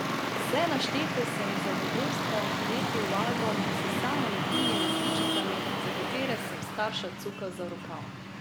Vse naštete sem z zadovoljstvom lepil v album s samolepilnimi sličicami, za katere sem starša cukal za rokav.